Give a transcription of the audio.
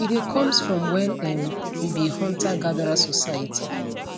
e dey comes from wen um we be huntergatherer society